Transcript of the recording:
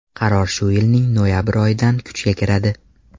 Qaror shu yilning noyabr oyidan kuchga kiradi.